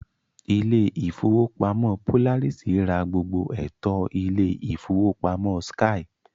Ilé ìfowópamọ́ Polaris ra gbogbo ẹ̀tọ́ Ilé ìfowópamọ́ skye